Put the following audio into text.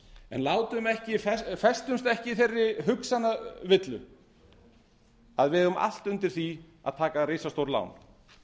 en festumst ekki í þeirri hugsanavillu að við eigum allt undir því að taka risastór lán